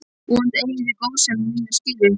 Vonandi eigið þið góðsemi mína skilið.